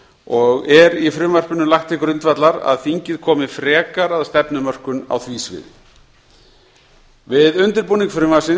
og er í frumvarpinu lagt til grundvallar að þingið komi frekar að stefnumörkun á því sviði við undirbúning frumvarpsins